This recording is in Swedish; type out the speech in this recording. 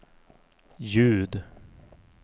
ljud